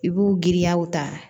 I b'u giriyaw ta